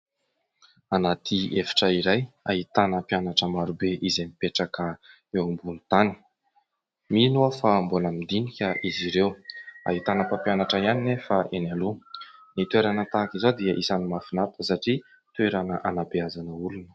Anaty efitra iray ahitana mpianatra maro be izay mipetraka eo ambony tany. Mino aho fa mbola midinika izy ireo, ahitana mpampianatra ihany nefa eny aloha. Ny toerana tahaka izao dia isany mahafinatra satria toerana hanabeazana olona.